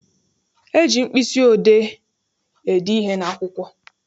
E ji mkpịsị odee ede ihe n'akwụkwọ.